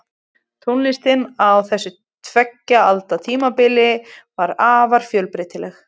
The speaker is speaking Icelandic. Tónlistin á þessu tveggja alda tímabili var afar fjölbreytileg.